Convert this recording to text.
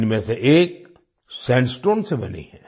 इनमें से एक सैंडस्टोन से बनी है